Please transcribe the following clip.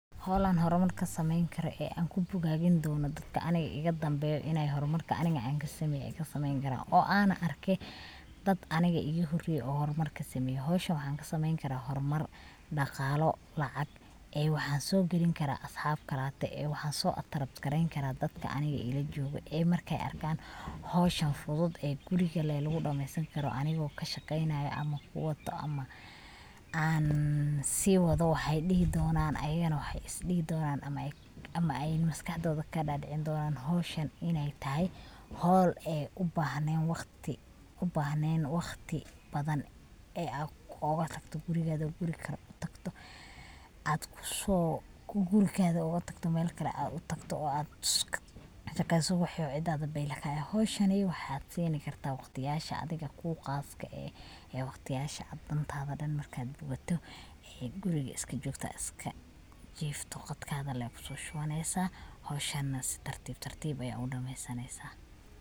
Howl an horumar kasameeyn karo ee an kubugaagin dono dadka aniga iga dambeeyan inay horumarka aniga anka sameeye ay kasameeyn kaaran oo ana arke dad aniga iga horeye oo horumar kasameeye howshan waxan kasameeyn karaa horumar dhaqalo, lacag ee waxan soo gelin karaa asxab kalate ee waxan soo atrakt-gareynkara dadka aniga ila jogoo ee markay arkan howshan fudud ee guriga le lugu dhameesan karo anigo kashaqeynayo ama kuwaato ama an si waado waxay dhihi doonaan ayagana waxay is dhihi doonaan ama ay maskaxdooda kadhadhicini doonaan howshan inay tahay howl ee ubahnen waqti badan ee ad oga tagto guriga oo guri kale utagto mise Mel kale utagto oo ad kashaqeyso woxo cida beylah ka eh, howshan waxad sinikartaa waqtiyasha adiga kuqaaska eh ee waqtiyasha ad dantada dhan markay bogoto ee guriga iska jogta iska jifto qadka le kuso shubaneysa howshan na si tartib tartib ayad udhameysaneysa